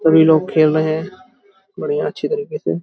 सभी लोग खेल रहे है। बढ़िया अच्छे तरीके से --